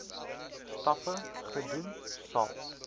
stappe gedoen sal